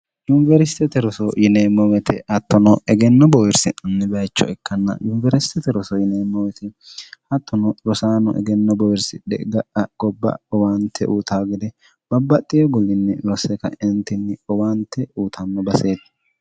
yuniwersitete roso yineemmowete hattono egenno bowirsinni bayicho ikkanna yuniwersitete roso yineemmowete hattono rosaano egenno bowirsi dhe ga'a gobba owaante uuta gede babbaxxi egulinni rose kaentinni owaante uutanno baseeti